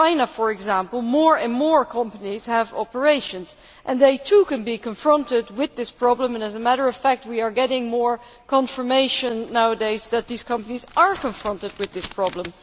For example, more and more companies have operations in China, and they too can be confronted with this problem. As a matter of fact, we are getting more confirmation nowadays that such companies are being confronted with this problem.